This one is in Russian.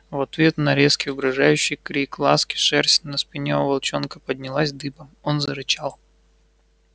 в ответ на резкий угрожающий крик ласки шерсть на спине у волчонка поднялась дыбом он зарычал